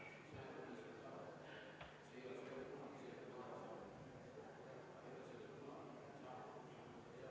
Ma palun seda ettepanekut hääletada ja palun enne seda 10 minutit vaheaega.